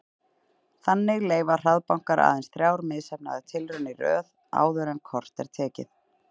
Þannig leyfa hraðbankar aðeins þrjár misheppnaðar tilraunir í röð áður en kort er tekið.